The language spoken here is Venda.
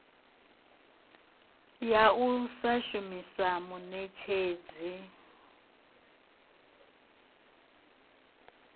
ya u sa shumisa muṋetshedzi